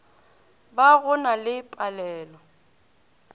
ba go na le palelo